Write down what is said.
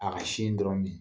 A ka sin dɔrɔn min